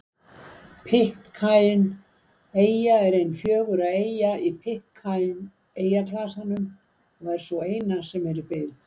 Pitcairn-eyja er ein fjögurra eyja í Pitcairn-eyjaklasanum og sú eina sem er í byggð.